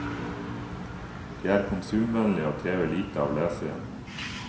De er konsumvennlige og krever lite av leseren.